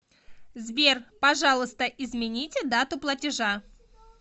сбер пожалуйста измените дату платежа